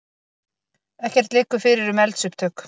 Ekkert liggur fyrir um eldsupptök